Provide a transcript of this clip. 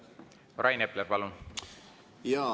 Rain Epler, palun!